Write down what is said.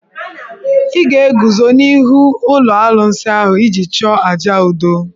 Ị ga-eguzo n'ihu ụlọ alụsị ahụ iji chụọ àjà udo.